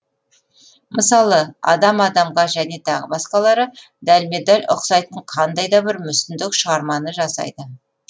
мысалы адам адамға және тағы басқалары дәлме дәл ұқсайтын қандайда бір мүсіндік шығарманы жасайды